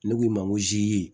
Ne k'u ma n ko zi